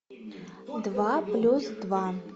два плюс два